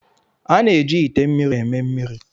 A na-eji ite mmiri eme mmiri.